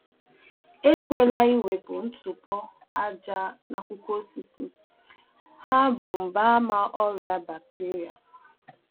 Elefukwala iwepu ntụpọ na acha ajaaja n'akwụkwọ ihe I kụrụ n'ubi anya, ha bụ mgbaàmà banyere nje ọrịa bakiteria.